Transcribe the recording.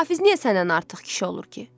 Hafiz niyə səndən artıq kişi olur ki?